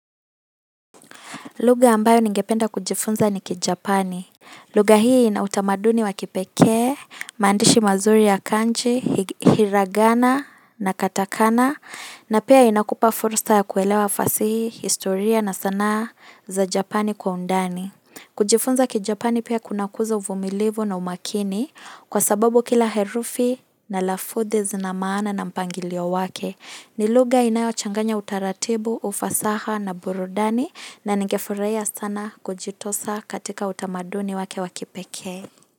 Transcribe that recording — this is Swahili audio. Lugha ambayo ningependa kujifunza ni Kijapani. Lugha hii inautamaduni wa kipekee, mandishi mazuri ya kanji, hiragana na katakana na pia inakupa fursa ya kuelewa fasihi, historia na sana za Japani kwa undani. Kujifunza Kijapani pia kunakuza uvumilivu na umakini kwa sababu kila herufi na lafudhi zina maana na mpangilio wake. Nilugha inayo changanya utaratibu, ufasaha na burudani na nigefurahia sana kujitosa katika utamaduni wake wa kipekee.